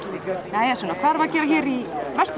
jæja Sunna hvað erum við að gera hér í